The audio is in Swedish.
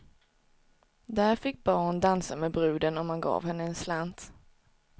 Där fick barn dansa med bruden, om man gav henne en slant.